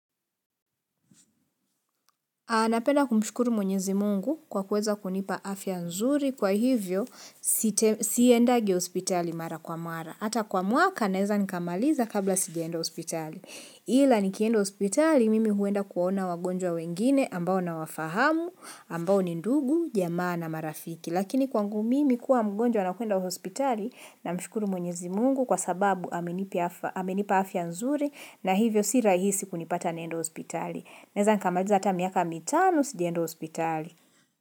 Napenda kumshukuru mwenyezi Mungu kwa kuweza kunipa afya nzuri kwa hivyo siendangi hospitali mara kwa mara. Hata kwa mwaka, naeza nikamaliza kabla sijaenda hospitali. Ila nikienda hospitali, mimi huenda kuona wagonjwa wengine ambao nawafahamu, ambao ni ndugu, jamaa na marafiki. Lakini kwangu mimi kuwa mgonjwa na kuenda hospitali namshukuru mwenyezi Mungu kwa sababu amenipa afya nzuri na hivyo si rahisi kunipata naenda hospitali. Naeza nikamaliza hata miaka mitano sijaenda hospitali.